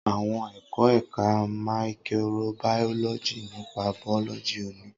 Awọn ẹkọ Ẹka maikirobaoloji nipa bulọọgi- oni